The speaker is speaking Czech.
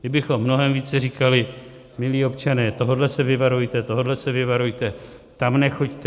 Kdybychom mnohem více říkali: Milí občané, tohohle se vyvarujte, tohohle se vyvarujte, tam nechoďte.